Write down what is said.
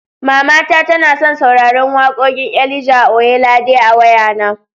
Mamata tana son sauraran wakoƙin Elijah Oyelade a wayana.